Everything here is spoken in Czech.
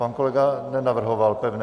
Pan kolega nenavrhoval pevné...